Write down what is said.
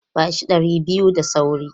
Ba shi ɗari biyu da sauri!